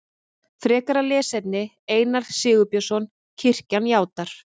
Frekara lesefni Einar Sigurbjörnsson: Kirkjan játar.